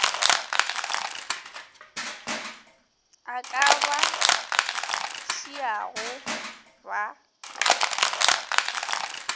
a ka ba šiago ba